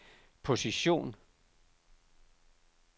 position